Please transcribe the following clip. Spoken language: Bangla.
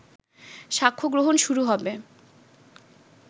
সাক্ষ্য গ্রহণ শুরু হবে